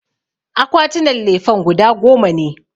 Akwatinan lefen guda goma ne